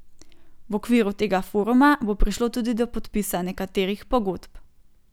V okviru tega foruma bo prišlo tudi do podpisa nekaterih pogodb.